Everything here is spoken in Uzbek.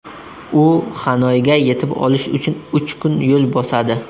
U Xanoyga yetib olish uchun uch kun yo‘l bosadi.